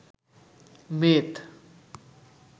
মেদ